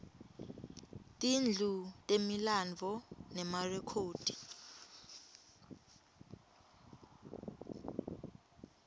tindlu temilandvo nemarekhodi